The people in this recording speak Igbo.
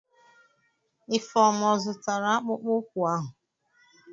Ifeoma ọ zụtara akpụkpọ ụkwụ ahụ?